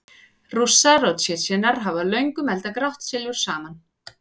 Rússar og Tsjetsjenar hafa löngum eldað grátt silfur saman.